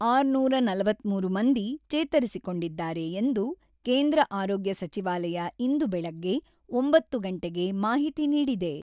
ಆರುನೂರ ನಲವತ್ತ್ಮೂರು ಮಂದಿ ಚೇತರಿಸಿಕೊಂಡಿದ್ದಾರೆ ಎಂದು ಕೇಂದ್ರ ಆರೋಗ್ಯ ಸಚಿವಾಲಯ ಇಂದು ಬೆಳಗ್ಗೆ ಒಂಬತ್ತು ಗಂಟೆಗೆ ಮಾಹಿತಿ ನೀಡಿದೆ.